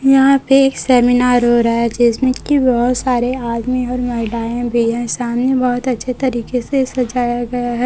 यहां पे एक सेमिनार हो रहा है जिसमें की बहोत सारे आदमी और महिलाएं भी हैं सामने बहोत अच्छे तरीके से सजाया गया है।